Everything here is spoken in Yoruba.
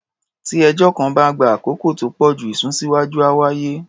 Tí ẹjọ́ kan bá ń gba àkókò tó pọ̀ jù, ìsúnsíwá́jú á wáyé.